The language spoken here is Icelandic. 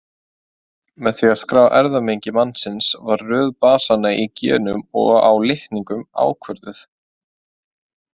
Með því að skrá erfðamengi mannsins var röð basanna í genum og á litningum ákvörðuð.